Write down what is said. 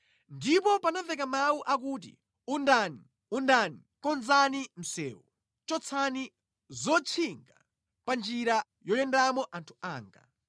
Ndipo panamveka mawu akuti, “Undani, undani, konzani msewu! Chotsani zotchinga pa njira yoyendamo anthu anga.”